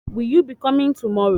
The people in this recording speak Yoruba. Will the parents be around today?